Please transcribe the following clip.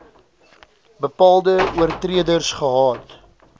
bepaalde oortreders gehad